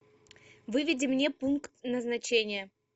выведи мне пункт назначения